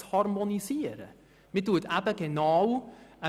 Wir nehmen hier keine Harmonisierung vor.